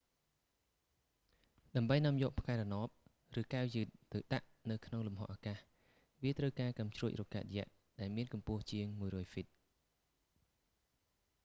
ដើម្បីនាំយកផ្កាយរណប ឬកែវយឺតទៅដាក់នៅក្នុងលំហអាកាស វាត្រូវការកាំជ្រួចរ៉ុកកែតយក្ស ដែលមានកម្ពស់ជាង 100 ហ្វីត